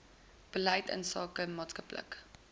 beleid insake maatskaplike